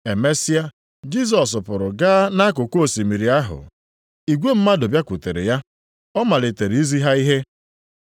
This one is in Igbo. Emesịa, Jisọs pụrụ gaa nʼakụkụ osimiri ahụ. Igwe mmadụ bịakwutere ya. Ọ malitere izi ha ihe.